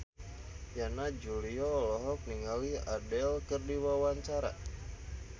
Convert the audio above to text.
Yana Julio olohok ningali Adele keur diwawancara